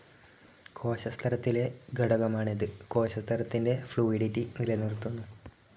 കോശസ്തരത്തിലെ ഘടകമാണിത്. കോശസ്തരത്തിൻ്റെ ഫ്ലൂയിഡിറ്റി നിലനിർത്തുന്നു.